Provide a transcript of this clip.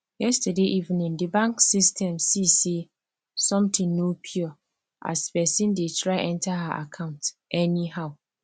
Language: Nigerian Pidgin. yesterday evening the bank system see say something no pure as person dey try enter her account anyhow